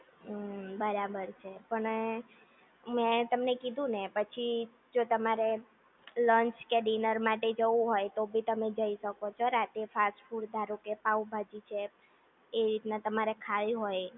હમ્મ બરાબર છે અને મેં તમને કીધુ ને એ પછી જો તમારે લંચ કે ડિનર માટે જવું હોય તો ભી તમે જઈ શકો છો રાતે ફાસ્ટ ફૂડ તારો કે તમારે પાવભાજી છે એ રીતના તમારે ખાવી હોય